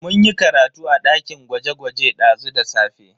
Mun yi karatu a dakin gwaje-gwaje dazu da safe.